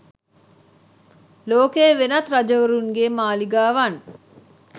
ලෝකයේ වෙනත් රජවරුන්ගේ් මාලිගාවන්